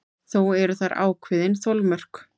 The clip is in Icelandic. Þó eru þar ákveðin þolmörk.